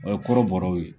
O ye kɔrɔbɔrɔw ye